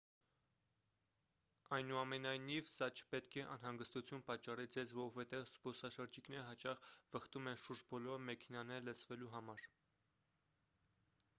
այնուամենայնիվ սա չպետք է անհանգստություն պատճառի ձեզ որովհետև զբոսաշրջիկները հաճախ վխտում են շուրջբոլորը մեքենաները լցվելու համար